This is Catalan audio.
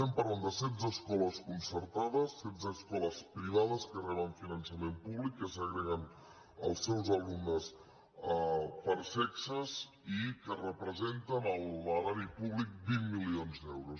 parlem de setze escoles concertades setze escoles privades que reben finançament públic que segreguen els seus alumnes per sexes i que representen a l’erari públic vint milions d’euros